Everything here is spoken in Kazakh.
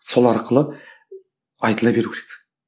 сол арқылы айтыла беру керек